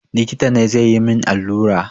Likita ne zai yi min allura.